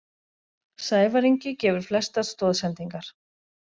Sævar Ingi gefur flestar stoðsendingar